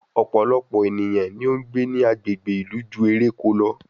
Ọ̀pọ̀lọpọ̀ ènìyàn ni ó ń gbé ní agbègbè ìlú ju eréko lọ